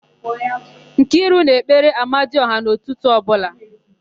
Nkiru na-ekpere amadiọha n'ụtụtụ ọbụla.